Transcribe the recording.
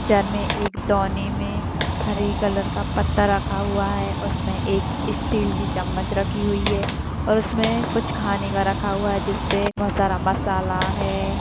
चनमे एक डौने में हरे कलर का पत्ता रखा हुआ है और उसमे एक स्टील की चम्मच रखी हुई है और उसमे कुछ खाने का रखा हुआ है जिसपे बहोत सारा मसाला है।